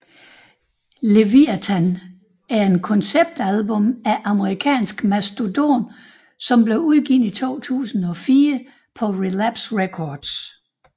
Leviathan er et konceptalbum af amerikanske Mastodon som blev udgivet i 2004 på Relapse Records